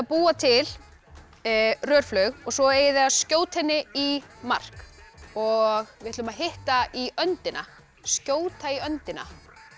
búa til og svo eigið þið að skjóta henni í mark og við ætlum að hitta í öndina skjóta í öndina